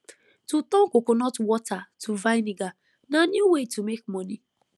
to turn coconut water to vinegar na new way to make money